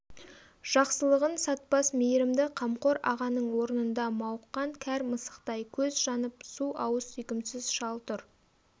жақсылығын сатпас мейірімді қамқор ағаның орнында мауыққан кәр мысықтай көз жанып су ауыз сүйкімсіз шал тұр